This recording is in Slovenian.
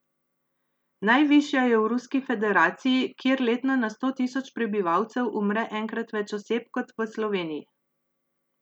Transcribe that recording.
Najvišja je v Ruski federaciji, kjer letno na sto tisoč prebivalcev umre enkrat več oseb kot v Sloveniji.